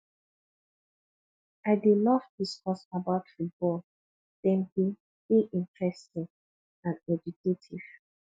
i dey love discuss about football dem dey dey interesting and educative